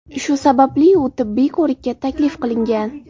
Shu sababli u tibbiy ko‘rikka taklif qilingan.